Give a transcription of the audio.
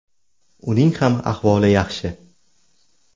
Uning ham ahvoli yaxshi.